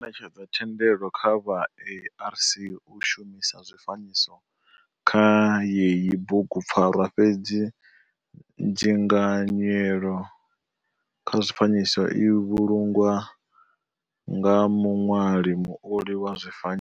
Ho netshedzwa thendelo kha vha ARC u shumisa zwifanyiso kha yeyi bugupfarwa fhedzi dzinganyelo kha zwifanyiso i vhulungwa nga muṋwali muoli wa zwifanyiso.